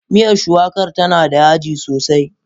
Miyar shuwakar tana da yaji sosai.